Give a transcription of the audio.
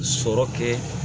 Sɔrɔ kɛ